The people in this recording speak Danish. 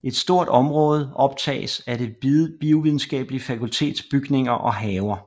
Et stort område optages af Det Biovidenskabelige Fakultets bygninger og haver